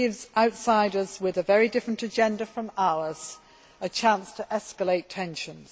It gives outsiders with a very different agenda from ours a chance to escalate tensions.